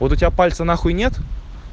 вот у тебя пальца на хуй нет